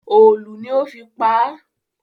Òòlù ni ó fi pa á